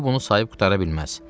O bunu sayıb qurtara bilməz.